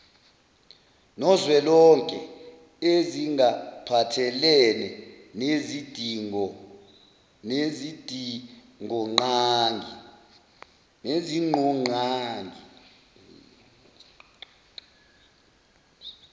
nozwelonke ezingaphathelene nezidingonqangi